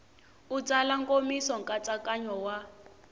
u tsala nkomiso nkatsakanyo wa